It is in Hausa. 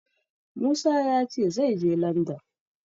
Musa ya ce zai je Landan.